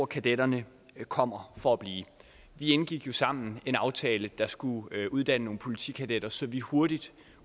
kadetterne kommer for at blive vi indgik jo sammen en aftale der skulle uddanne nogle politikadetter så vi hurtigt